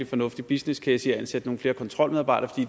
fornuftig businesscase i at ansætte nogle flere kontrolmedarbejdere